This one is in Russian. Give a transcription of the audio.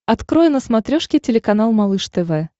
открой на смотрешке телеканал малыш тв